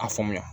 A faamuya